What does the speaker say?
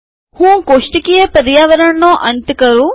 હું કોષ્ટકીય પર્યાવરણનો અંત કરું